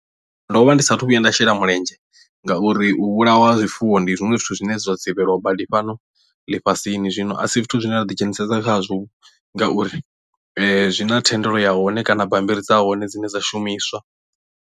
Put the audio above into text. Ndo vha ndi sathu vhuya nda shela mulenzhe ngauri u vhulawa ha zwifuwo ndi zwiṅwe zwithu zwine zwa dzivhelwa badi fhano ḽifhasini zwino a si zwithu zwine ra ḓi dzhenisesa khazwo ngauri zwi na thendelo ya hone kana bambiri dza hone dzine dza shumiswa.